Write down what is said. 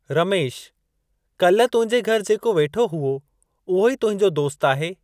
रमेश, काल्ह तुंहिंजे घरि जेको वेठो हुओ, उहो ई तुंहिंजो दोस्तु आहे?